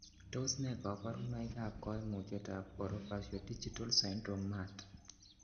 Tos nee koborunoikab koimutietab Orofaciodigital syndrome mut?